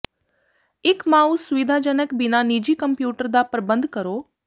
ਇੱਕ ਮਾਊਸ ਅਸੁਿਵਧਾਜਨਕ ਬਿਨਾ ਨਿੱਜੀ ਕੰਪਿਊਟਰ ਦਾ ਪ੍ਰਬੰਧ ਕਰੋ